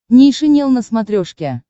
нейшенел на смотрешке